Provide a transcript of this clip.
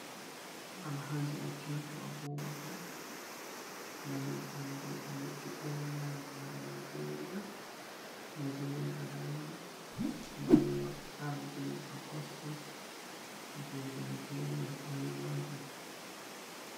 Alhaji Atikuiku Abubakar baldo ardi ɗo leddi bore majo ha Naijeria mo waziri r Adamawa balo ardi do kosto je Nijeria boye majo.